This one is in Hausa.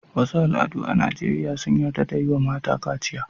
Wasu al'adu a Najeriya sun yarda da yi wa mata kaciya.